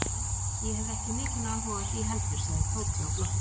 Nei, ég hefði ekki mikinn áhuga á því heldur sagði Tóti og glotti.